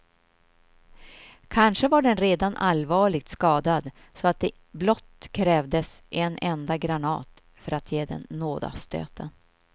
Kanske var den redan allvarligt skadad så att det blott krävdes en enda granat för att ge den nådastöten.